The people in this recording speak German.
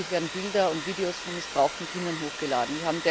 Täglich werden Bilder und Videos von missbrauchten Kindern hochgeladen.